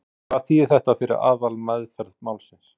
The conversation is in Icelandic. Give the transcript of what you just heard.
En hvað þýðir þetta fyrir aðalmeðferð málsins?